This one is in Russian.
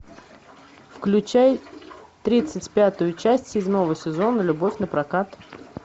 включай тридцать пятую часть седьмого сезона любовь напрокат